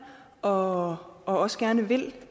og også gerne vil